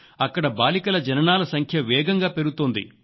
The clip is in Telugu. అక్కడ బాలికల జననాల సంఖ్య వేగంగా పెరుగుతోంది